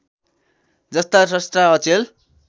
जस्ता स्रष्टा अचेल